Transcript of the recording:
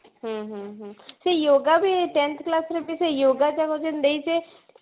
ହୁଁ ହୁଁ ହୁଁ ସେ yoga ବି tenth class ରେ ବି ସେଇ yoga ଟା ବି ଯୋଉ ଦେଇନଛେ